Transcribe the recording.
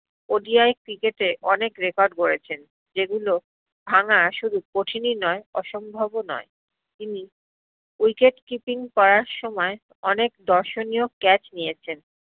ODIcricket এ অনেক record করেছেন যেগুলো ভাঙ্গা শুধু কঠিনই নয় অসম্ভব ও নয় তিনি wicketkeeping করার সময় অনেক দর্শনীয় catch নিয়েছেন